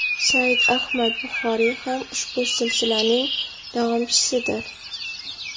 Said Ahmad Buxoriy ham ushbu silsilaning davomchisidir.